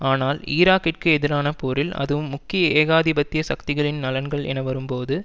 ஆனால் ஈராக்கிற்கு எதிரான போரில் அதுவும் முக்கிய ஏகாதிபத்திய சக்திகளின் நலன்கள் என வரும்போது